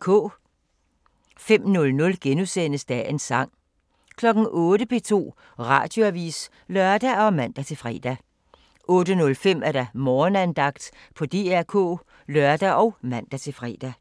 05:00: Dagens Sang * 08:00: P2 Radioavis (lør og man-fre) 08:05: Morgenandagten på DR K (lør og man-fre)